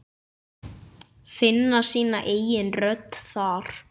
Finna sína eigin rödd þar.